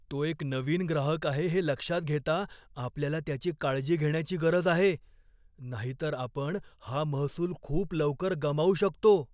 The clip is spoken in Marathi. तो एक नवीन ग्राहक आहे हे लक्षात घेता, आपल्याला त्याची काळजी घेण्याची गरज आहे नाहीतर आपण हा महसूल खूप लवकर गमावू शकतो.